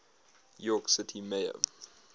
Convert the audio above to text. york city mayor